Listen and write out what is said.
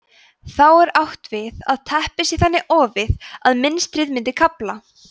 þá er átt við að teppið sé þannig ofið að mynstrið myndi kafla